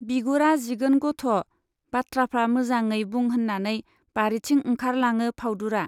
बिगुरा जिगोन गथ', बाथ्राफ्रा मोजाङै बुं होन्नानै बारिथिं ओंखारलाङो फाउदुरा।